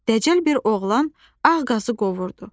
Dəcəl bir oğlan ağ qazı qovurdu.